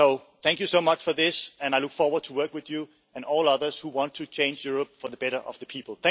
future. Thank you so much for this and I look forward to working with you and all others who want to change Europe for the better of the people.